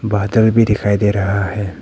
बादल भी दिखाई दे रहा है।